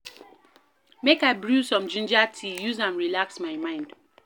Make I brew some ginger tea use am relax my mind.